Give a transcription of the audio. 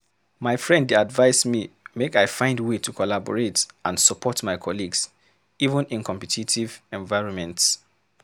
My friend dey advise me make I find way to collaborate and support my colleagues, even in competitive environments.